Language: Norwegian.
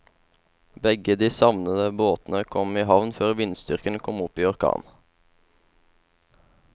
Begge de savnede båtene kom i havn før vindstyrken kom opp i orkan.